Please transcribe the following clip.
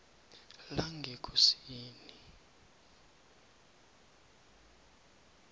langekosini